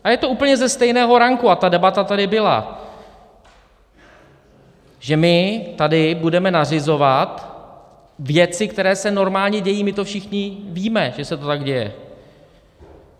A je to úplně ze stejného ranku a ta debata tady byla, že my tady budeme nařizovat věci, které se normálně dějí, my to všichni víme, že se to tak děje.